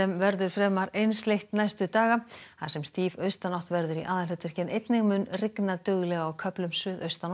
verður fremur einsleitt næstu daga þar sem stíf austanátt verður í aðalhlutverki en einnig mun rigna duglega á köflum suðaustan og